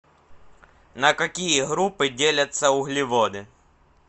на какие группы делятся углеводы